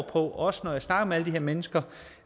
på også når jeg snakker med de her mennesker